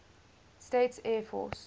states air force